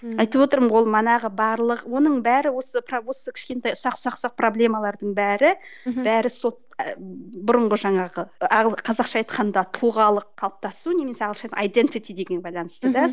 айтып отырмын ғой ол манағы барлық оның бәрі осы осы бір кішкентай ұсақ ұсақ ұсақ проблемалардың бәрі бәрі сол бұрынғы жаңағы ы қазақша айтқанда тұлғалық қалыптасу немесе ағылшынша байланысты да